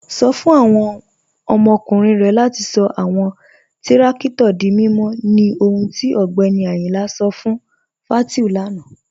Sọ̀ fún awọn ọmọkùnrin rẹ̀ latí sọ̀ awọn tìrakítò dí mímọ̀ ní ọ̀hùn tí Ọgbẹ́ni Ayínla sọ̀ fún Fátíù lánà.